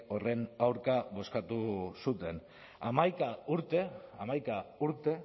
horren aurka bozkatu zuten hamaika urte hamaika urte